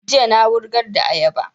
Jiya na wurgar da ayaba